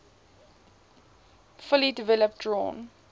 fully developed drawn